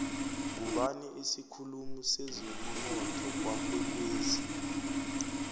ngubani isikhulumi sezemunotho kwakwekwezi